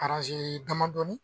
Araze damadɔnin.